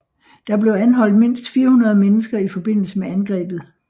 Der blev anholdt mindst 400 mennesker i forbindelse med angrebet